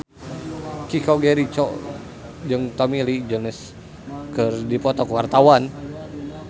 Chico Jericho jeung Tommy Lee Jones keur dipoto ku wartawan